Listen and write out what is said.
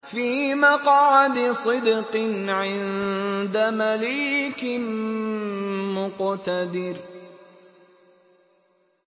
فِي مَقْعَدِ صِدْقٍ عِندَ مَلِيكٍ مُّقْتَدِرٍ